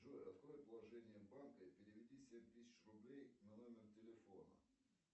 джой открой положение банка и переведи семь тысяч рублей на номер телефона